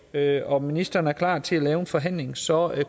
lavet og ministeren er klar til at indgå i en forhandling så